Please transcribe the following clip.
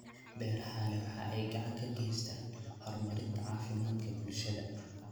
Beerahani waxa ay gacan ka geystaan ??horumarinta caafimaadka bulshada.